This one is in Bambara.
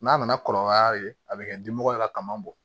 N'a nana kɔlɔlɔ y'a la a bɛ kɛ dimɔgɔ ye a ka ma bɔ